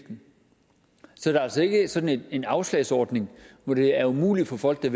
så det er altså ikke sådan en afslagsordning hvor det er umuligt for folk der